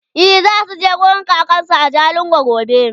e zasuje wurin kakansu a jalingo gobe